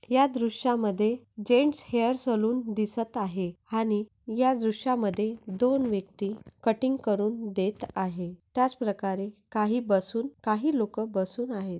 या दृश्यामध्ये gents hair salon दिसत आहे आणि या दृश्यामध्ये दोन व्यक्ति कटिंग करून देत आहे त्याच प्रकारे काही बसून काही लोक बसून आहेत.